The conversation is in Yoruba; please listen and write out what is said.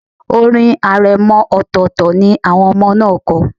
Orin aremọ ọltọ̀tọltọ̀ ni àwọn ọmọ náà kọ.